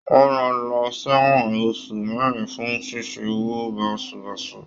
Wọn rán lọ ṣ'ewọn oṣù mẹrin fún ṣíṣe owó basubasu.